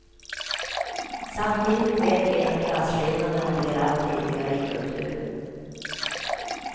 Samtidigt vet vi att klasskillnaderna blir allt tydligare i kulturen.